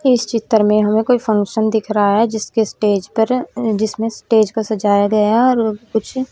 इस चित्र में हमें कोई फंक्शन दिख रहा है जिसके स्टेज पर जिसमें स्टेज को सजाया गया है और कुछ--